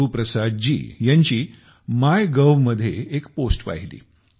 गुरुप्रसाद जी यांची मायगोव मध्ये एक पोस्ट पाहिली